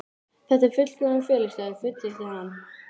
Þetta er fullkominn felustaður, fullyrti hann.